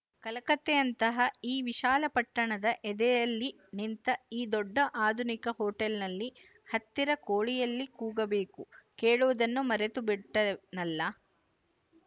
ಕಲಕತ್ತೆಯಂತಹ ಈ ವಿಶಾಲ ಪಟ್ಟಣದ ಎದೆಯಲ್ಲಿ ನಿಂತ ಈ ದೊಡ್ಡ ಆಧುನಿಕ ಹೋಟೆಲ್ನಲ್ಲಿ ಹತ್ತಿರ ಕೋಳಿಯೆಲ್ಲಿ ಕೂಗಬೇಕು ಕೇಳುವುದನ್ನೇ ಮರೆತುಬಿಟ್ಟೆನಲ್ಲ